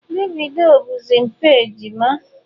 Davido bụzi mpa ejima.